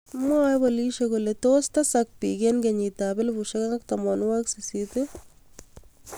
Mwaae poliisiek kolee tos teesak piik eng' kenyiit ap 2018